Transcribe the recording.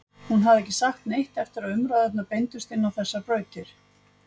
Hún hafði ekki sagt neitt eftir að umræðurnar beindust inn á þessar brautir.